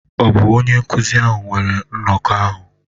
Ọ̀ bụ onye nkụzi ahụ weere nnọkọ ahụ?